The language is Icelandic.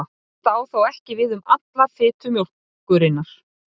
Þetta á þó ekki við um alla fitu mjólkurinnar.